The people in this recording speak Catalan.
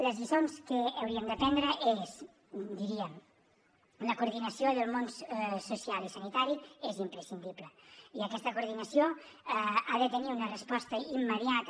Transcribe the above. les lliçons que hauríem d’aprendre és diríem la coordinació del món social i sanitari és imprescindible i aquesta coordinació ha de tenir una resposta immediata